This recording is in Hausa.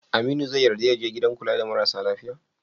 Aminu zai yarda ya je gidan kula da marasa lafiya?